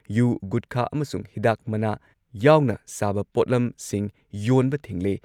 U, ꯒꯨꯠꯈꯥ ꯑꯃꯁꯨꯡ ꯍꯤꯗꯥꯛ ꯃꯅꯥ ꯌꯥꯎꯅ ꯁꯥꯕ ꯄꯣꯠꯂꯝꯁꯤꯡ ꯌꯣꯟꯕ ꯊꯤꯡꯂꯦ